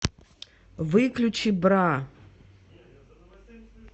выключи бра